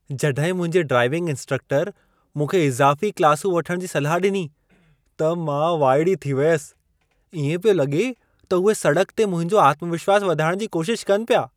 जड॒हिं मुंहिंजे ड्राइविंग इंस्ट्रक्टरु मूंखे इज़ाफ़ी क्लासूं वठणु जी सलाह डि॒नी, त मां वाइड़ी थी वयसि। ईएं पियो लगे॒ त उहे सड़क ते मुंहिंजो आत्मविश्वासु वधाइण जी कोशिशि कनि पिया।